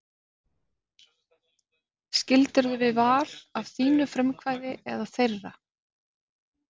Skildirðu við Val af þínu frumkvæði eða þeirra?